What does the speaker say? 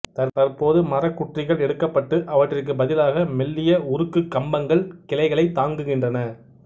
தற்போது மரக் குற்றிகள் எடுக்கப்பட்டு அவற்றிற்குப் பதிலாக மெல்லிய உருக்கு கம்பங்கள் கிளைகளைத் தாங்குகின்றன